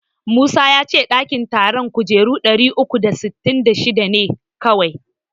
Musa ya ce ɗakin taron kujera ɗari uku da sittin da shida ne kawai.